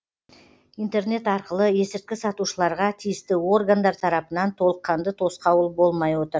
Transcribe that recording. интернет арқылы есірткі сатушыларға тиісті органдар тарапынан толыққанды тосқауыл болмай отыр